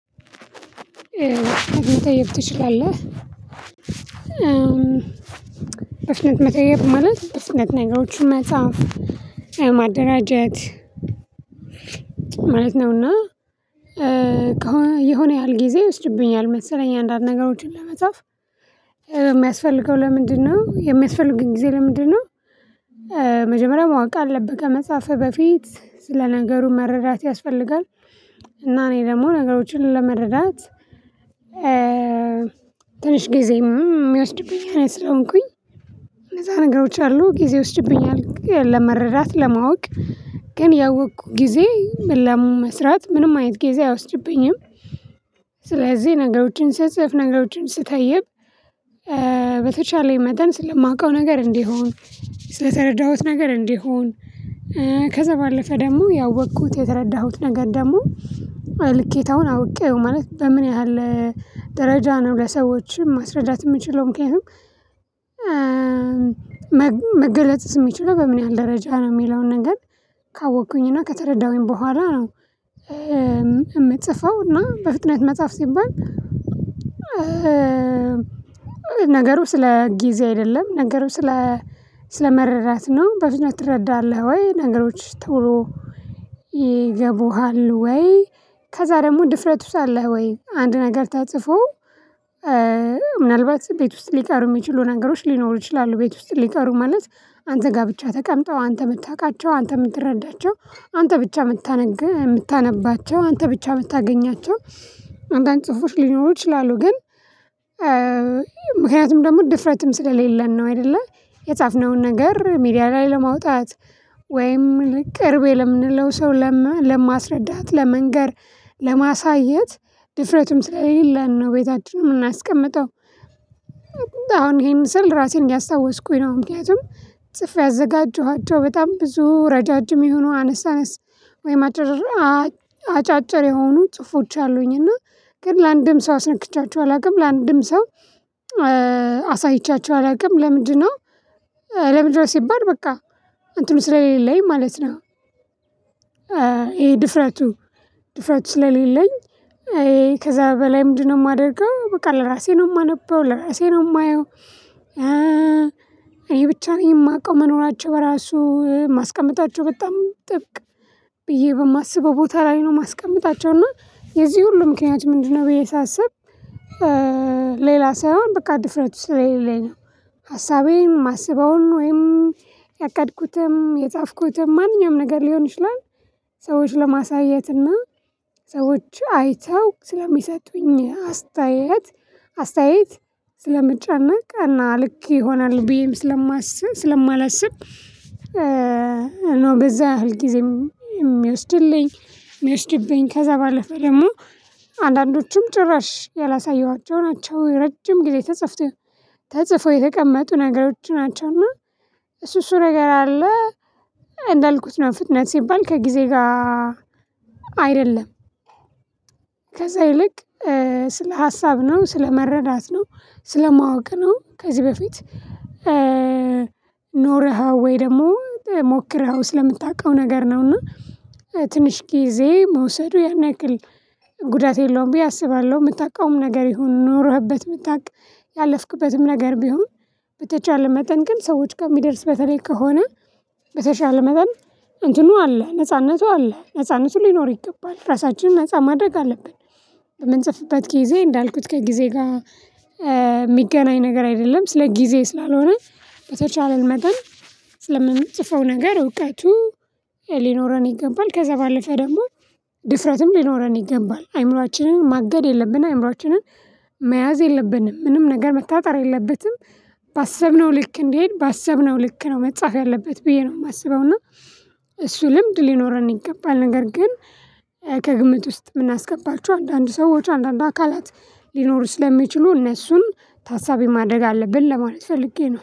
በፍጥነት መተየብ ትችላለህ? በፍጥነት መተየብ ማለት በፍጥነት ነገሮችን መጻፍ የማደራጀት ማለት ነውና። የሆነ ያህል ጊዜ ይወስድብኛል መሰለኝ አንዳንድ ነገሮችን ለመጻፍ የሚያስፈልገው ለምንድነው የሚያስፈልጉኝ ጊዜ ለምንድነው? መጀመሪያ ማወቅ አለብህ ከመጻፍህ በፊት ስለ ነገሩ መረዳት ያስፈልጋል እና እኔ ደግሞ ነገሮችን ለመረዳት ትንሽ ጊዜ ሚወስድብኝ አይነት ስለሆንኩኝ እነዛ ነገሮች አሉ ጊዜ ይወስድብኛል ለመረዳት ለማወቅ ግን ያወቅኩ ጊዜ ለመስራት ምንም አይነት ጊዜ አይወስድብኝም። ስለዚህ ነገሮችን ስጽፍ ነገሮችን ስተይብ በተቻለኝ መጠን ስለማውቀው ነገር እንዲሆን ስለተረዳሁት ነገር እንዲሆን ከዛ ባለፈ ደግሞ ያወኩት የተረዳሁት ነገር ደሞ ልኬታውን አውቄው ማለት በምን ያህል ደረጃ ነው ለሰዎችም ማስረዳት የምችለው ምክንያቱም መገለጥስ የሚችለው በምን ያህል ደረጃ ነው የሚለውን ነገር ካወቅኩኝ እና ከተረዳሁኝ በኋላ ነው። የምጽፈው እና በፍጥነት መጽሐፍ ሲባል። ነገሩ ስለ ጊዜ አይደለም ነገሩ ስለ ስለመረዳት ነው በፍጥነት ትረዳለህ ወይ ነገሮች ቶሎ ይገቡሃል ወይ? ከዛ ደግሞ ድፍረቱስ አለህ ወይ? አንድ ነገር ተፅፎ ምናልባት ቤት ውስጥ ሊቀሩ የሚችሉ ነገሮች ሊኖሩ ይችላሉ። ቤት ውስጥ ሊቀሩ ማለት አንተ ጋ ብቻ ተቀምጠው አንተ ምታውቃቸው አንተ ምትረዳቸው አንተ ብቻ ምታነግ ምታነባቸው አንተ ብቻ ምታገኛቸው አንዳንድ ጽሁፎች ሊኖሩ ይችላሉ ግን ምክንያቱም ደግሞ ድፍረትም ስለሌለን ነው። አይደለ የጻፍነውን ነገር ሚዲያ ላይ ለማውጣት ወይም ቅርቤ ለምንለው ሰው ለማስረዳት ለመንገር ለማሳየት ድፍረቱም ስለሌለን ነው። ቤታችን ምናስቀምጠው አሁን ይሄን ስል ራሴን እያስታወስኩኝ ነው ምክንያቱም ጽፌ ያዘጋጀኋቸው በጣም ብዙ ረጃጅም የሆኑ አነስ አነስ ወይም አጭር አጫጭር የሆኑ ጽሁፎች አሉኝ እና ግን ለአንድም ሰው አስነክቻቸው አላውቅም ለአንድም ሰው አሳይቻቸው አላውቅም። ለምንድነው ለምንድነው ሲባል በቃ እንትኑ ስለሌለኝ ማለት ነው። ይሄ ድፍረቱ ድፍረቱ ስለሌለኝ ከዛ በላይ ምንድነው የማደርገው በቃ ለራሴ ነው የማነበው ለራሴ ነው የማየው። እኔ ብቻ ነኝ የማቀው መኖራቸው ራሱ ማስቀምጣቸው በጣም ጥብቅ ብዬ በማስበው ቦታ ላይ ነው ማስቀመጣቸውና የዚህ ሁሉ ምክንያቱ ምንድነው? ብዬ ሳስብ ሌላ ሳይሆን በቃ ድፍረቱ ስለሌለኝ ነው። ሀሳቤም ማስበውን ወይም ያቀድኩትም የጻፍኩትም ማንኛውም ነገር ሊሆን ይችላል። ሰዎች ለማሳየትና ሰዎች አይተው ስለሚሰጡኝ አስተያየት አስተያየት ስለምጨነቅ አና ልክ ይሆናል ብዬም ስለማስብ ስለማላስብ ነው በዛ ሁልጊዜም የሚወስድልኝ የሚወስድብኝ ከዛ ባለፈ ደግሞ አንዳንዶቹም ጭራሽ ያላሳየኋቸው ናቸው። ረጅም ጊዜ ተጽፎ የተቀመጡ ነገሮች ናቸውና እሱ እሱ ነገር አለ እንዳልኩት ነው ፍጥነት ሲባል ከጊዜ ጋር አይደለም። ከዛ ይልቅ ስለ ሀሳብ ነው ስለ መረዳት ነው ስለ ማወቅ ነው። ከዚህ በፊት ኖረኸው ወይ ደግሞ ሞክረኸው ስለምታውቀው ነገር ነው። እና ትንሽ ጊዜ መውሰዱ ያን ያክል ጉዳት የለውም ብዬ አስባለሁ ምታውቀውም ነገር ይሁን ኖረህበት ምታቅ ያለፍክበትም ነገር ቢሆን በተቻለ መጠን ግን ሰዎች ጋር ሚደርስ በተለይ ከሆነ በተቻለ መጠን እንትኑ አለ ነጻነቱ አለ ነጻነቱ ሊኖር ይገባል ራሳችንን ነፃ ማድረግ አለብን። በምንጽፍበት ጊዜ እንዳልኩት ከጊዜ ጋ ሚገናኝ ነገር አይደለም ስለ ጊዜ ስላልሆነ። በተቻለን መጠን ስለምንጽፈው ነገር እውቀቱ ሊኖረን ይገባል ከዛ ባለፈ ደግሞ ድፍረትም ሊኖረን ይገባል። አይምሮአችንን ማገድ የለብንም አይምሮአችንን መያዝ የለብንም። ምንም ነገር መታጠር የለበትም። ባሰብነው ልክ እንዲሆን ባሰብነው ልክ ነው መጻፍ ያለበት ብዬ ነው ማስበው እና እሱ ልምድ ሊኖረን ይገባል። ነገር ግን ከግምት ውስጥ ምናስገባቸው አንዳንድ ሰዎች አንዳንድ አካላት ሊኖሩ ስለሚችሉ እነሱን ታሳቢ ማድረግ አለብን ለማለት ፈልጌ ነው